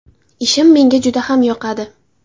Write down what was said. Ishim menga juda ham yoqadi.